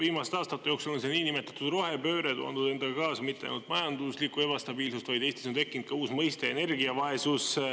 Viimaste aastate jooksul on see niinimetatud rohepööre toonud endaga kaasa mitte ainult majanduslikku ebastabiilsust, vaid Eestis on tekkinud ka uus mõiste – energiavaesus.